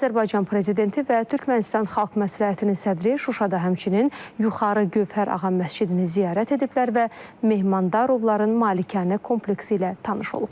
Azərbaycan Prezidenti və Türkmənistan Xalq Məsləhətinin sədri Şuşada həmçinin Yuxarı Gövhər Ağa məscidini ziyarət ediblər və Mehmandarovların malikanə kompleksi ilə tanış olublar.